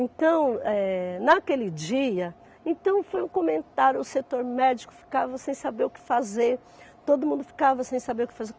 Então, eh naquele dia, então foi um comentário, o setor médico ficava sem saber o que fazer, todo mundo ficava sem saber o que fazer.